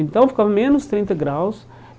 Então ficava menos trinta graus.